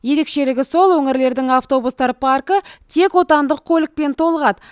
ерекшелігі сол өңірлердің автобустар паркі тек отандық көлікпен толығады